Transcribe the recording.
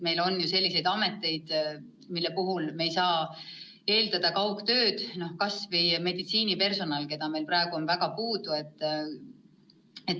Meil on ju selliseid ameteid, mille puhul ei saa kaugtööd eeldada, näiteks kas või meditsiinipersonal, keda meil praegu on väga puudu.